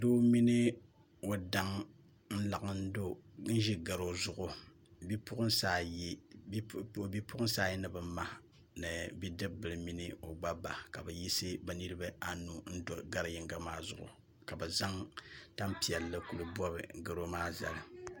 Doo mini o daŋ n laɣim ʒi garo zuɣu bipuɣunsi ayi ni bi ma ni bidib bili mini o gna ba ka bi yi si bi niraba anu n do gari yinga maa zuɣu ka bi zaŋ tanpiɛlli kili bobi garo maa zali